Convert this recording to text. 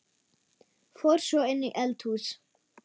Fór svo inn í eldhús.